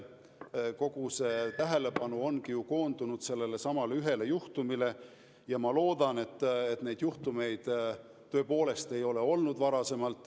Kogu tähelepanu on koondunud sellelesamale ühele juhtumile ja ma loodan, et neid juhtumeid enne tõepoolest ei ole olnud.